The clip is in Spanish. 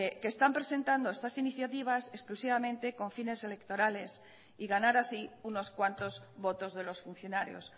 que están presentando estas iniciativas exclusivamente con fines electorales y ganar así unos cuantos votos de los funcionarios